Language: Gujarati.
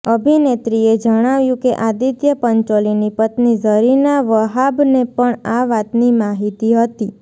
અભિનેત્રીએ જણાવ્યુ કે આદિત્ય પંચોલીની પત્ની ઝરીના વહાબને પણ આ વાતની માહિતી હતી